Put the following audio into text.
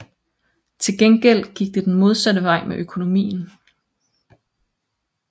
Til gengæld gik det den modsatte vej med økonomien